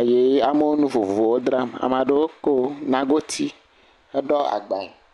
eye amewo nu vovovowo dzram. Ame aɖewo ko nagoti ɖo agbae.